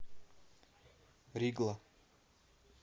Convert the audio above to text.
ригла